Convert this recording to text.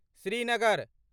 Srinagar